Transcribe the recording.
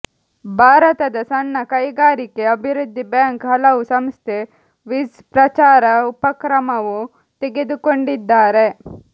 ಭಾರತದ ಸಣ್ಣ ಕೈಗಾರಿಕೆ ಅಭಿವೃದ್ಧಿ ಬ್ಯಾಂಕ್ ಹಲವು ಸಂಸ್ಥೆ ವಿಝ್ ಪ್ರಚಾರ ಉಪಕ್ರಮವು ತೆಗೆದುಕೊಂಡಿದ್ದಾರೆ